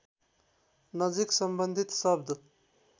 नजिक सम्बन्धित शब्द